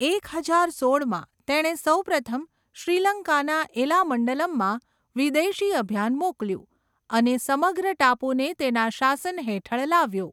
એક હજાર સોળમાં, તેણે સૌપ્રથમ શ્રીલંકાના એલામંડલમમાં વિદેશી અભિયાન મોકલ્યું અને સમગ્ર ટાપુને તેના શાસન હેઠળ લાવ્યો.